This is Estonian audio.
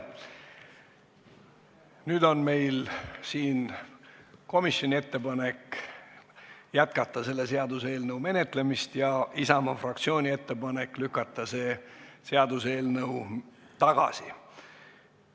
Nüüd on meil siin laual komisjoni ettepanek jätkata selle seaduseelnõu menetlemist ja Isamaa fraktsiooni ettepanek lükata see seaduseelnõu tagasi.